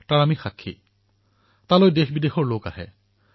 তালৈ বিদেশৰ পৰা লোক আহে